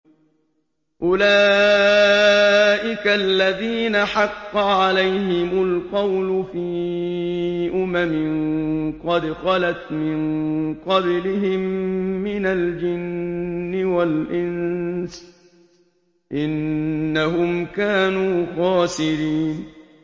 أُولَٰئِكَ الَّذِينَ حَقَّ عَلَيْهِمُ الْقَوْلُ فِي أُمَمٍ قَدْ خَلَتْ مِن قَبْلِهِم مِّنَ الْجِنِّ وَالْإِنسِ ۖ إِنَّهُمْ كَانُوا خَاسِرِينَ